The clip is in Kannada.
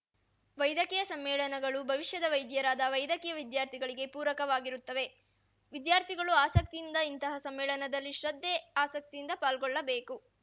ವೈದ್ಯಕೀಯ ಸಮ್ಮೇಳನಗಳು ಭವಿಷ್ಯದ ವೈದ್ಯರಾದ ವೈದ್ಯಕೀಯ ವಿದ್ಯಾರ್ಥಿಗಳಿಗೆ ಪೂರಕವಾಗಿರುತ್ತವೆ ವಿದ್ಯಾರ್ಥಿಗಳೂ ಆಸಕ್ತಿಯಿಂದ ಇಂತಹ ಸಮ್ಮೇಳನದಲ್ಲಿ ಶ್ರದ್ಧೆ ಆಸಕ್ತಿಯಿಂದ ಪಾಲ್ಗೊಳ್ಳಬೇಕು